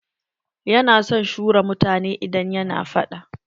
Ya na son shura mutane idan yana faɗa.